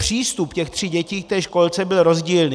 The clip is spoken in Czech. Přístup těch tří dětí k tě školce byl rozdílný.